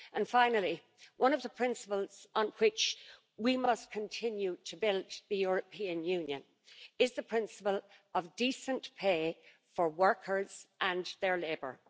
Finally, one of the principals on which we must continue to build the European Union is the principle of decent pay for workers and their labour.